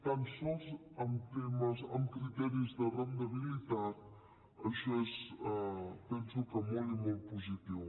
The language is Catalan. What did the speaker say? tan sols amb criteris de rendibilitat això és penso que molt i molt positiu